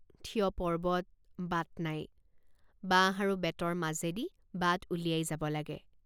থিয় পৰ্বত বাট নাই বাঁহ আৰু বেতৰ মাজেদি বাট উলিয়াই যাব লাগে।